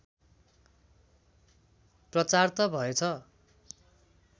प्रचार त भएछ